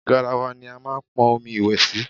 Garawa ni a máa pọn omi ìwẹ̀ sí.